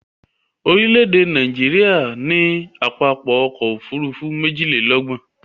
Orílè-èdè Nàìjíríà ní pápá ọkọ̀ Òfurufú méjìlélọ́gbọ̀n